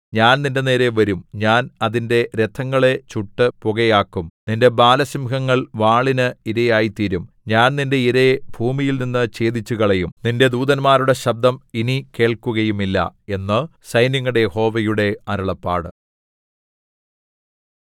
ഞാൻ നിന്റെനേരെ വരും ഞാൻ അതിന്റെ രഥങ്ങളെ ചുട്ടു പുകയാക്കും നിന്റെ ബാലസിംഹങ്ങൾ വാളിന് ഇരയായിത്തീരും ഞാൻ നിന്റെ ഇരയെ ഭൂമിയിൽനിന്ന് ഛേദിച്ചുകളയും നിന്റെ ദൂതന്മാരുടെ ശബ്ദം ഇനി കേൾക്കുകയുമില്ല എന്ന് സൈന്യങ്ങളുടെ യഹോവയുടെ അരുളപ്പാട്